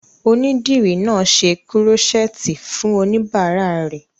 Onídìrí náà n ṣe kúrọ́sẹ́ẹ̀tì fún oníbàárà rẹ̀